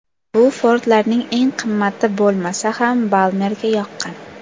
Bu Ford’larning eng qimmati bo‘lmasa ham Balmerga yoqqan.